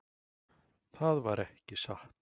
Það var ekki satt.